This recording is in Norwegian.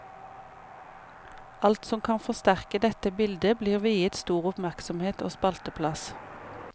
Alt som kan forsterke dette bildet, blir viet stor oppmerksomhet og spalteplass.